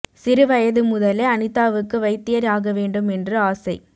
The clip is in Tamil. சிறு வயது முதலே அனிதாவுக்கு வைத்தியர் ஆக வேண்டும் என்று ஆசை